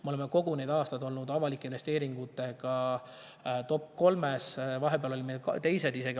Me oleme kõik need aastad olnud avalike investeeringutega topp kolmes, vahepeal olime isegi teised.